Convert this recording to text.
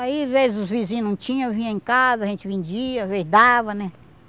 Aí, às vezes, os vizinhos não tinham, vinha em casa, a gente vendia, às vezes, dava, né?